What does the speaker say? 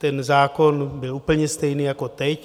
Ten zákon byl úplně stejný jako teď.